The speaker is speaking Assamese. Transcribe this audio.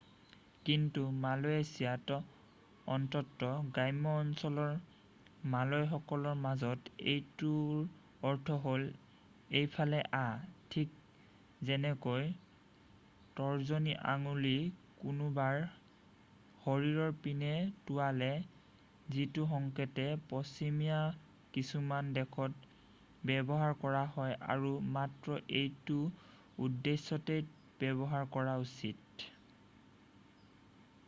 "কিন্তু মালয়েছিয়াত অন্ততঃ গ্ৰাম্য অঞ্চলৰ মালয় সকলৰ মাজত এইটোৰ অৰ্থ হ'ল "এইফালে অহা" ঠিক যেনেকৈ তৰ্জনী আঙুলি কোনোবাৰ শৰীৰৰ পিনে টোঁৱালে যিটো সংকেত পশ্চিমীয়া কিছুমান দেশত ব্যৱহাৰ কৰা হয় আৰু মাত্ৰ এইটো উদ্দেশ্যতেই ব্যৱহাৰ কৰা উচিত।""